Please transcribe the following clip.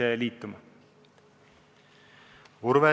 Urve Tiidus, palun!